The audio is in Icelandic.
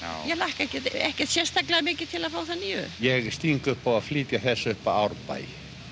ég hlakka ekkert sérstaklega mikið til að fá þá nýju ég sting upp á að flytja þessa upp að Árbæ